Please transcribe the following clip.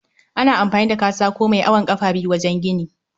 Ana amfani da katako mai awon kafa biyu wajen gini